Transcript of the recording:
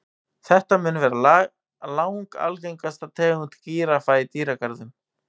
Þetta mun vera langalgengasta tegund gíraffa í dýragörðum.